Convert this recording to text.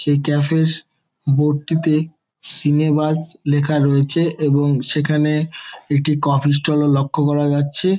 এই ক্যাফ -এর বোর্ড -টিতে সিনেবাজ লেখা রয়েছে এবং সেখানে একটি কফি স্টল -ও লক্ষ্য করা যাচ্ছে।